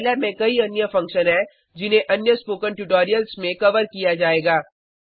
Scilab में कई अन्य फंक्शन हैं जिन्हें अन्य स्पोकन ट्यूटोरियल्स में कवर किया जाएगा